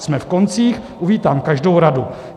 Jsme v koncích, uvítám každou radu.